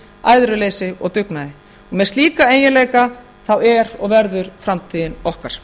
æðruleysi og dugnaði með slíka eiginleika er og verður framtíðin okkar